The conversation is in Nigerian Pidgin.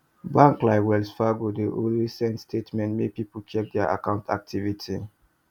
bank like wells fargo dey always send statement make people check their account activity